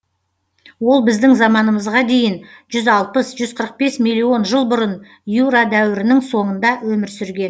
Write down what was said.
ол біздің заманымызға дейін жүз алпыс жүз қырық бес миллион жыл бұрын юра дәуірінің соңында өмір сүрген